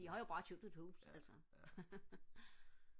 det har jo bare købt et hus altså